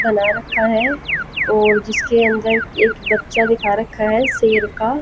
बना रखा है और जिसके अंदर एक बच्चा दिखा रखा है शेर का।